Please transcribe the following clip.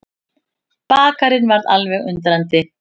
Bakarinn varð alveg undrandi.